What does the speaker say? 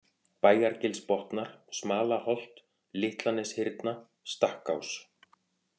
Bæjargilsbotnar, Smalaholt, Litlaneshyrna, Stakkás